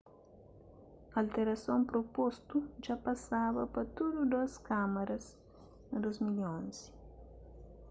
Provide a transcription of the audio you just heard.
alterason propostu dja pasaba pa tudu dôs kámaras na 2011